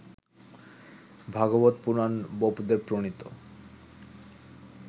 Bhagavata Purana বোপদেবপ্রণীত